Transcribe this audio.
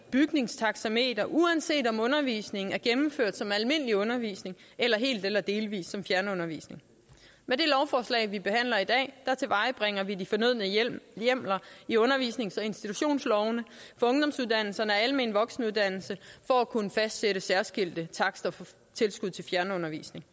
bygningstaxameter uanset om undervisningen er gennemført som almindelig undervisning eller helt eller delvis som fjernundervisning med det lovforslag vi behandler i dag tilvejebringer vi de fornødne hjemler i undervisnings og institutionslovene for ungdomsuddannelserne og den almene voksenuddannelse for at kunne fastsætte særskilte takster for tilskud til fjernundervisning